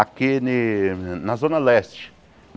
aqui ni na Zona Leste.